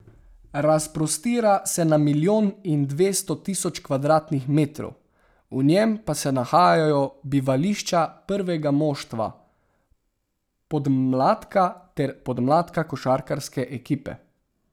Razprostira se na milijon in dvesto tisoč kvadratnih metrov, v njem pa se nahajajo bivališča prvega moštva, podmladka ter podmladka košarkarske ekipe.